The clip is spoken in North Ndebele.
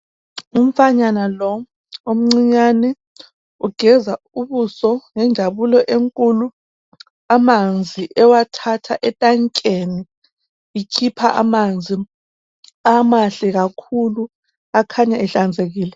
Umfanyana lo omcinyane ugeza ubuso ngenjabulo enkulu amanzi ewathatha e tankeni ikhipha amanzi amahle kakhulu akhanya ehlanzekile.